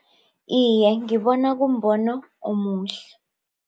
Iye ngibona kumbono omuhle.